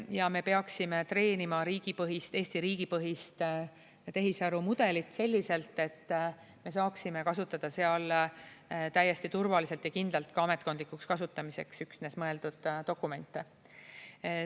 Ja me peaksime treenima riigipõhist, Eesti riigi põhist tehisarumudelit selliselt, et me saaksime kasutada seal täiesti turvaliselt ja kindlalt ka üksnes ametkondlikuks kasutamiseks mõeldud dokumente.